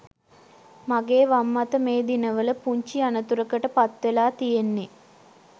මගේ වම් අත මේ දිනවල පුංචි අනතුරකට පත්වෙලා තියෙන්නෙ